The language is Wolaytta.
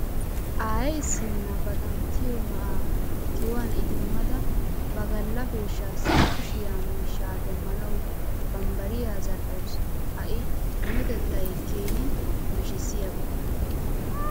Aaye issinna ba xanttiyo na'aa kiyuwan idimmada ba galla peeshshaassi koshshiyaa miishshaa demmanawu bambbariya zal"awusu. Ha I minotettay keehi nashshissiyaba.